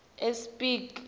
espiki